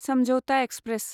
समझौता एक्सप्रेस